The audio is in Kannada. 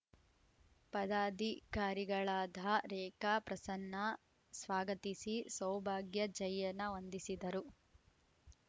ಪದಾಧಿಕಾರಿಗಳಾದ ರೇಖಾ ಪ್ರಸನ್ನ ಸ್ವಾಗತಿಸಿ ಸೌಭಾಗ್ಯ ಜಯನ್ನ ವಂದಿಸಿದರು